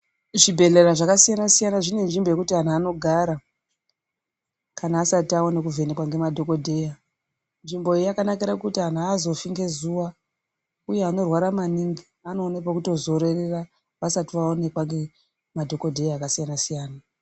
Zvibhedhlera zvakasiyana -siyana zvine nzvombo yekuti antu anogara kana asati apne kuvhenekwa ngemadhogodheya. Nzvimbo iyi yakanakira kuti antu hazofi ngezuva, uye anorwara maningi anoone pekutozororera vasati vaonekwa ngemadhogodheya akasiyana-siyana.